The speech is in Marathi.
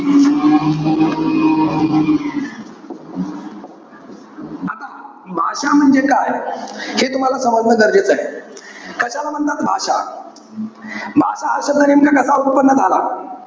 आता भाषा म्हणजे काय? हे तुम्हाला समजणं गरजेचंय. कशाला म्हणतात भाषा? भाषा हा शब्द नेमका कसा उत्पन्न झाला?